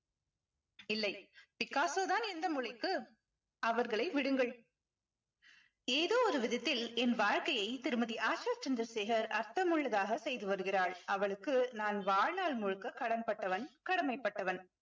இல்லை பிக்காசோ தான் எந்த மொழிக்கு அவர்களை விடுங்கள் ஏதோ ஒரு விதத்தில் என் வாழ்க்கையை திருமதி ஆஷா சந்திரசேகர் அர்த்தமுள்ளதாக செய்து வருகிறாள் அவளுக்கு நான் வாழ்நாள் முழுக்க கடன் பட்டவன் கடமைப்பட்டவன்